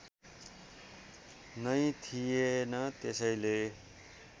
नै थिएन त्यसैले